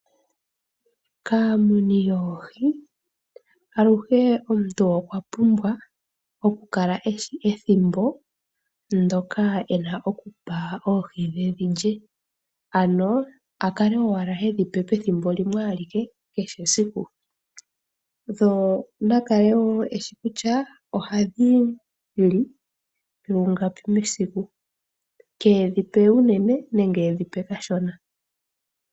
Kaamuni yoohi aluhe omuntu okwa pumbwa okukala e shi ethimbo ndyoka e na okupa oohi dhe dhi lye ano a kale owala hedhi pe pethimbo limwe alike kehe esiku, ye na kale woo e shi kutya ohadhi li lungapi mesiku, keedhi pe unene nenge keedhi pe kashona.